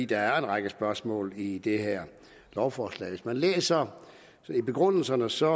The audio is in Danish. der er en række spørgsmål i det her lovforslag hvis man læser i begrundelserne ser